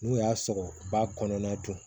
N'u y'a sɔrɔ ba kɔnɔna don